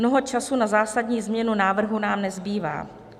Mnoho času na zásadní změnu návrhu nám nezbývá.